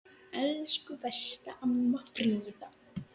Elsku besta amma Fríða.